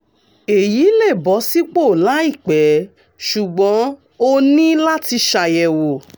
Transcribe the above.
èyí lè bọ́ sípò láìpẹ́ ṣùgbọ́n o ní láti ṣàyẹ̀wò